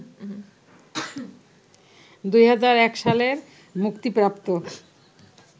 ২০০১ সালে মুক্তিপ্রাপ্ত